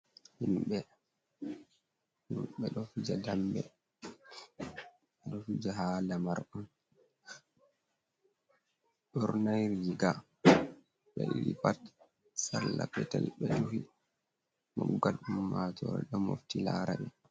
Himɓe ɓe ɗo fija dambe ɓe ɗo fija ha lamar on, ɓe ɓornai riga ɓe ɗiɗi pat salla petel ɓe duhi, moggal ummatore ɗo mofti lara ɓe.